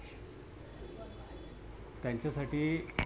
त्यांच्या साठी